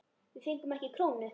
Við fengum ekki krónu.